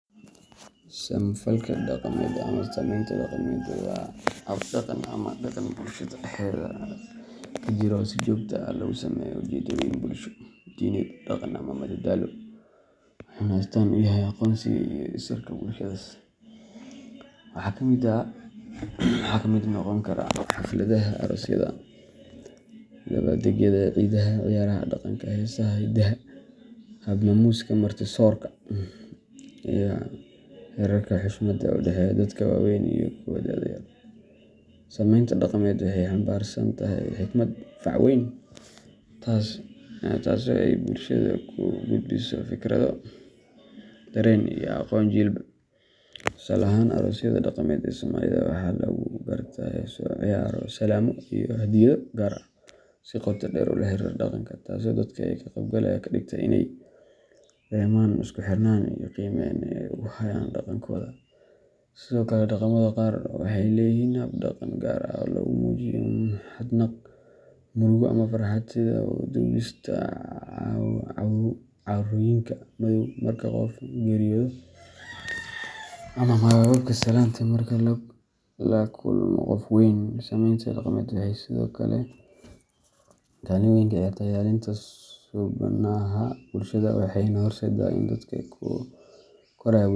Samo-falka dhaqameed ama sameynta dhaqameed waa habdhaqan ama dhaqan bulshada dhexdeeda ka jira oo si joogto ah loogu sameeyo ujeeddooyin bulsho, diineed, dhaqan ama madadaalo, wuxuuna astaan u yahay aqoonsiga iyo isirka bulshadaas. Waxaa ka mid noqon kara xafladaha aroosyada, dabbaaldegyada ciidaha, ciyaaraha dhaqanka, heesaha hiddaha, hab-maamuuska marti-soorka, iyo xeerarka xushmada ee u dhexeeya dadka waaweyn iyo kuwa da'da yar. Sameynta dhaqameed waxay xambaarsan tahay xikmad fac weyn, taasoo ay bulshada ku gudbiso fikrado, dareen, iyo aqoon jiilba jiil. Tusaale ahaan, aroosyada dhaqameed ee Soomaalida waxaa lagu gartaa heeso, ciyaaro, salaamo iyo hadyado gaar ah oo si qoto dheer ula xiriira dhaqanka, taasoo dadka ka qaybgalaya ka dhigta inay dareemaan isku-xirnaan iyo qiimeyn ay u hayaan dhaqankooda. Sidoo kale, dhaqamada qaar waxay leeyihiin hab-dhaqan gaar ah oo lagu muujiyo mahadnaq, murugo ama farxad, sida u duubista cawrooyinka madow marka qof geeriyoodo, ama hababka salaanta marka la kulmo qof weyn. Sameynta dhaqameed waxay sidoo kale kaalin weyn ka ciyaartaa ilaalinta suubanaha bulshada, waxayna horseeddaa in dadka ku koraya.